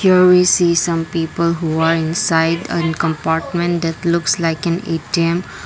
here is seen some people who are inside and compartment that looks like an A_T_M.